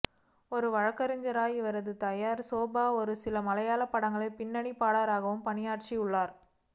ஒரு வழக்கறிஞரான இவரது தாயார் சோபா ஒரு சில மலையாள படங்களில் பின்னணி பாடகராகவும் பணியாற்றியுள்ளார்